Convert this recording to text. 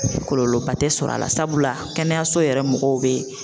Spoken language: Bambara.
Kɔlɔlɔba tɛ sɔrɔ a la, sabula kɛnɛyaso yɛrɛ mɔgɔw be